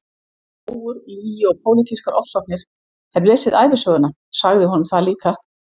Rógur, lygi og pólitískar ofsóknir, hef lesið ævisöguna- sagði honum það líka!